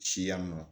Siya ma